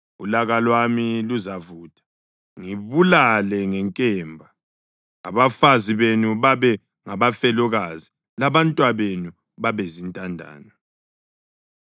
ulaka lwami luzavutha, ngibulale ngenkemba; abafazi benu babe ngabafelokazi labantwabenu babe zintandane.